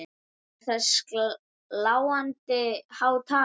Er það sláandi há tala.